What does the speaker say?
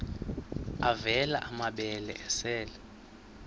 avela amabele esel